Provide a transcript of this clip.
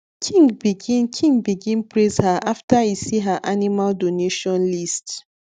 king begin king begin praise her after e see her animal donation list